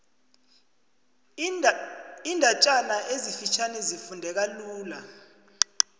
iindatjana ezifitjhani zifundeka lula